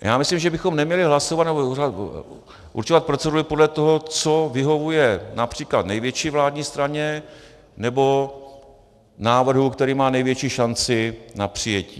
Já myslím, že bychom neměli hlasovat nebo určovat proceduru podle toho, co vyhovuje například největší vládní straně, nebo návrhu, který má největší šanci na přijetí.